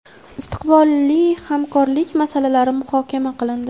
istiqbolli hamkorlik masalalari muhokama qilindi.